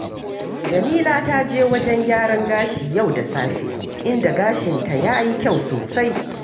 Jamila ta je wajen gyaran gashi yau da safe, inda gashinta ya yi kyau sosai